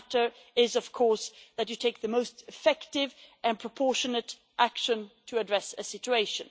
the matter is of course that you take the most effective and proportionate action to address a situation.